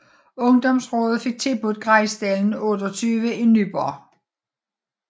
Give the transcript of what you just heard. Ungdomsrådet fik tilbudt Grejsdalen 28 i Nyborg